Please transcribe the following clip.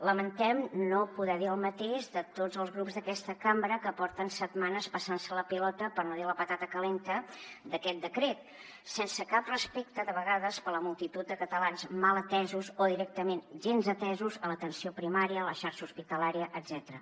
lamentem no poder dir el mateix de tots els grups d’aquesta cambra que porten setmanes passant se la pilota per no dir la patata calenta d’aquest decret sense cap respecte de vegades per la multitud de catalans mal atesos o directament gens atesos a l’atenció primària a la xarxa hospitalària etcètera